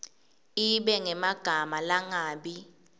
ibe ngemagama langabi